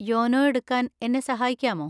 YONO എടുക്കാൻ എന്നെ സഹായിക്കാമോ?